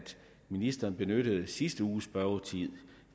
ministeren benyttede sidste uges spørgetid